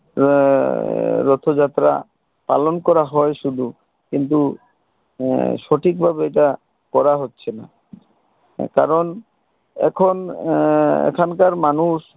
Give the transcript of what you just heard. আহ রথ যাত্রা পালন করা হয় শুধু কিন্তু আহ সঠিক ভাবে এটা করা হছে না কারণ এখন আহ এখনকার মানুষ